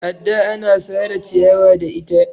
adda ana Sara ciyawa da ita